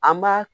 An b'a